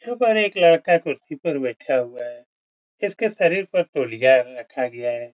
ऊपर एक लड़का कुर्सी पर बैठा हुआ है। इसके शरीर पर तौलिया रखा गया है।